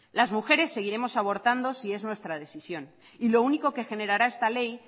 las mujeres seguiremos abortando si es nuestra decisión y lo único que generará esta ley